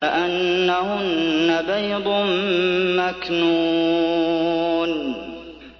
كَأَنَّهُنَّ بَيْضٌ مَّكْنُونٌ